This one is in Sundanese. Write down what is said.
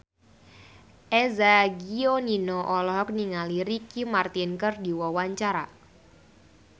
Eza Gionino olohok ningali Ricky Martin keur diwawancara